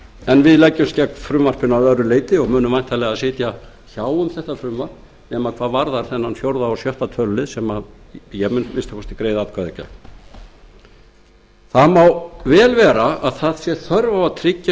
en leggst eindregið gegn frumvarpinu að öðru leyti og munum væntanlega sitja hjá um þetta frumvarp nema hvað varðar þennan fjórða og sjötta tölulið ég mun að minnsta kosti greiða atkvæði gegn vel má vera að þörf sé á að tryggja